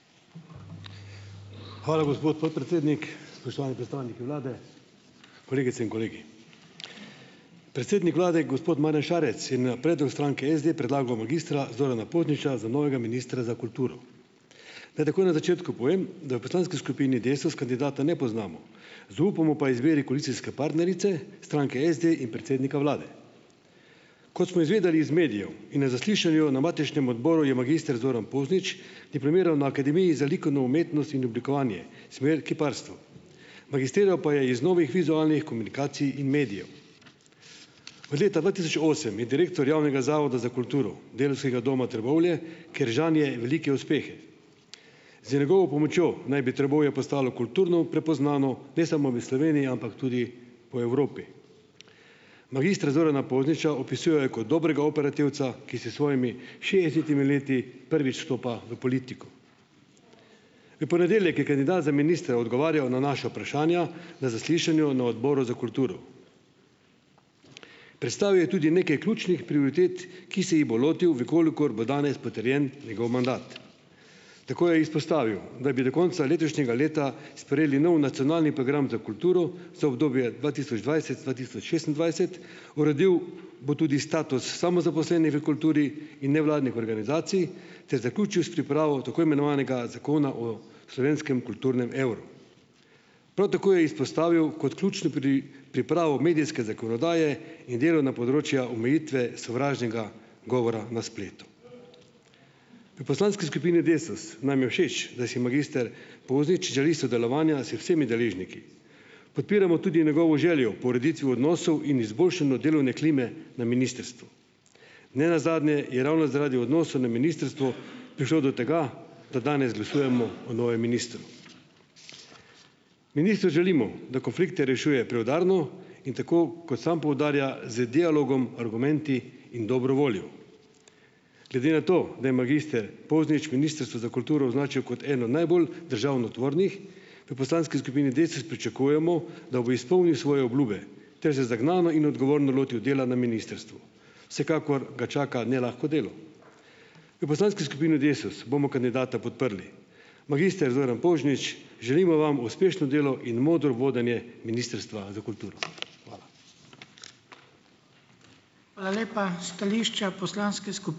Hvala, gospod podpredsednik. Spoštovani predstavniki vlade, kolegice in kolegi. Predsednik vlade, gospod Marjan Šarec, je na predlog stranke SD predlagal magistra Zorana Pozniča za novega ministra za kulturo. Naj takoj na začetku povem, da v poslanski skupini Desus, kandidata ne poznamo, zaupamo pa izbiri koalicijske partnerice, stranke SD in predsednika vlade. Kot smo izvedeli iz medijev in na zaslišanju na matičnem odboru, je magister Zoran Poznič diplomiral na Akademiji za likovno umetnost in oblikovanje, smer kiparstvo, magistriral pa je iz novih vizualnih komunikacij in medijev. Od leta dva tisoč osem je direktor Javnega zavoda za kulturo, Delavskega doma Trbovlje, kjer žanje velike uspehe. Zdaj, njegovo pomočjo naj bi Trbovlje postalo kulturno prepoznano, ne samo v Sloveniji, ampak tudi po Evropi. Magister Zorana Pozniča opisujejo kot dobrega operativca, ki s svojimi šestdesetimi leti prvič vstopa v politiko. V ponedeljek je kandidat za ministra odgovarjal na naša vprašanja na zaslišanju na Odboru za kulturo. Predstavil je tudi nekaj ključnih prioritet, ki se jih bo lotil, v kolikor bo danes potrjen njegov mandat. Tako je izpostavil, da bi do konca letošnjega leta sprejeli nov nacionalni program za kulturo, za obdobje dva tisoč dvajset-dva tisoč šestindvajset, uredil bo tudi status samozaposlenih v kulturi in nevladnih organizacij ter zaključil s pripravo tako imenovanega Zakona o slovenskem kulturnem evru. Prav tako je izpostavil kot ključno pripravo medijske zakonodaje in delo na področja omejitve sovražnega govora na spletu. Pri poslanski skupini Desus nam je všeč, da si magister Poznič želi sodelovanja z vsemi deležniki. Podpiramo tudi njegovo željo po ureditvi odnosov in izboljšanju delovne klime na ministrstvu. Ne nazadnje je ravno zaradi odnosov na ministrstvu prišlo do tega, da danes glasujemo o novem ministru. Ministru želimo, da konflikte rešuje preudarno in tako, kot samo poudarja, z dialogom, argumenti in dobro voljo. Glede na to, da je magister Poznič Ministrstvo za kulturo označil kot eno najbolj državotvornih, pri poslanski skupini Desus pričakujemo, da bo izpolnil svoje obljube ter se zagnano in odgovorno lotil dela na ministrstvu. Vsekakor ga čaka nelahko delo. V poslanski skupini Desus bomo kandidata podprli. Magister Zoran Poznič, želimo vam uspešno delo in modro vodenje Ministrstva za kulturo. Hvala.